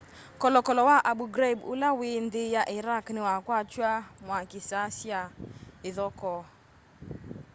kolokolo wa abu ghraib ula wĩ nthi ya iraq niwakwatw'a mwaki saa sya ithokoo